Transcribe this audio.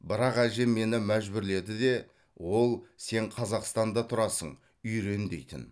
бірақ әжем мені мәжбүрледі де ол сен қазақстанда тұрасың үйрен дейтін